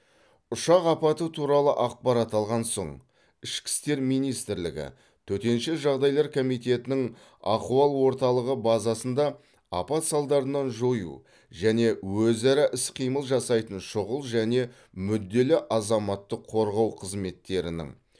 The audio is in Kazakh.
ұшақ апаты туралы ақпарат алған соң ішкі істер министрлігі төтенше жағдайлар комитетінің ахуал орталығы базасында апат салдарынан жою және өзара іс қимыл жасайтын шұғыл және мүдделі азаматтық қорғау қызметтерінің